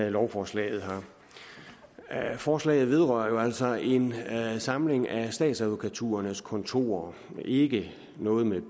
i lovforslaget her forslaget vedrører jo altså en samling af statsadvokaturernes kontorer og har ikke noget med